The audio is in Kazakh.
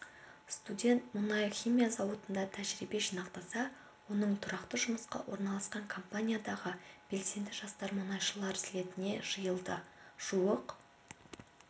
студент мұнай-химия зауытында тәжірибе жинақтаса оның тұрақты жұмысқа орналасқан компаниядағы белсенді жастар мұнайшылар слетіне жиылды жуық